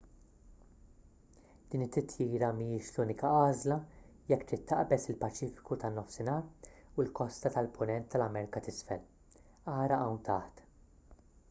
din it-titjira mhijiex l-unika għażla jekk trid taqbeż il-paċifiku tan-nofsinhar u l-kosta tal-punent tal-amerka t'isfel. ara hawn taħt